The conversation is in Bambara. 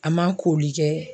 A ma koli kɛ.